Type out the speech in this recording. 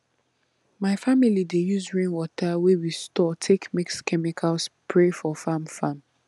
my family dey use rainwater wey we store take mix chemical spray for farm farm